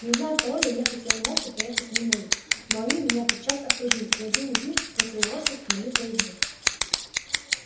не зная пароля я хотел молча проехать мимо их но они меня тотчас окружили и один из них схватил лошадь мою за узду